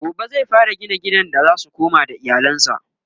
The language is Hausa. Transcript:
gobe zai fara gina gidan da zasu koma da iyalansa?